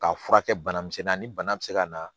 K'a furakɛ banamisɛnnin na ni bana be se ka na